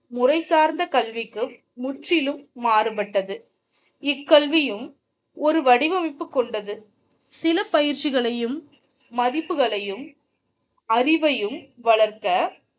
முறைசார்ந்த கல்விக்கு முற்றிலும் மாறுபட்டது இக்கல்வியும் ஒரு வடிவமைப்பு கொண்டது சில பயிற்சிகளையும் மதிப்புகளையும் அறிவையும் வளர்க்க